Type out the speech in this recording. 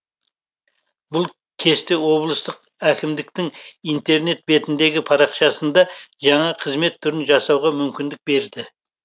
бұл кесте облыстық әкімдіктің интернет бетіндегі парақшасында жаңа қызмет түрін жасауға мүмкіндік берді